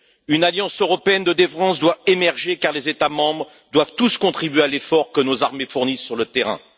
Une alliance européenne de défense doit émerger, car les États membres doivent tous contribuer à l'effort que nos armées fournissent sur le terrain.